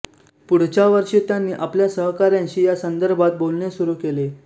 पुढच्या वर्षी त्यांनी आपल्या सहकाऱ्यांशी या संदर्भात बोलणे सुरू केले